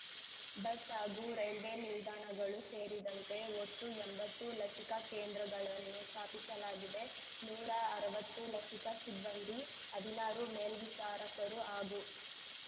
bus ಹಾಗೂ railway ನಿಲ್ದಾಣಗಳು ಸೇರಿದಂತೆ ಒಟ್ಟು ಎಂಬತ್ತು ಲಸಿಕಾ ಕೇಂದ್ರಗಳನ್ನು ಸ್ಥಾಪಿಸಲಾಗಿದೆ ನೂರಾ ಅರ್ವತ್ತು ಲಸಿಕಾ ಸಿಬ್ಬಂದಿ ಹದಿನಾರು ಮೇಲ್ವಿ ಚಾರಕರು ಹಾಗೂ